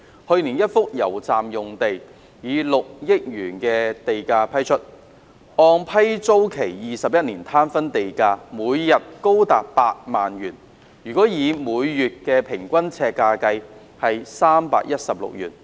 去年一幅油站用地以 6.2 億元地價批出，按批租期21年攤分的地價，每日高達8萬元或每月每平方呎316元。